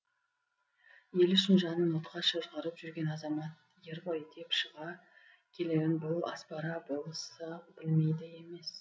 ел үшін жанын отқа шыжғырып жүрген азамат ер ғой деп шыға келерін бұл аспара болысы білмейді емес